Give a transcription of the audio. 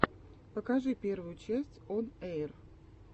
покажи первую часть он эйр